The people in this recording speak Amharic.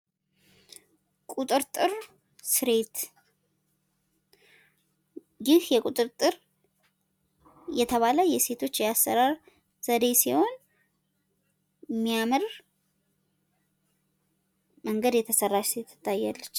ቁጥርጥር ስሬት! ይህ ቁጥርጥር የተባለ የሴቶች የፀጉር ስሬት ሲሆን በሚያምር መንገድ የተሰራች ሴት ትታያለች።